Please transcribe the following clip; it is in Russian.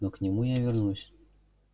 но к нему я вернусь